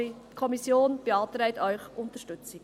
Die Kommission beantrag Ihnen: Unterstützung.